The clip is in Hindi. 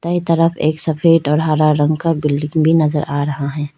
ताए तरफ एक सफेद और हरा रंग का बिल्डिंग भी नजर आ रहा है।